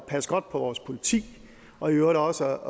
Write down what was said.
passe godt på vores politi og i øvrigt også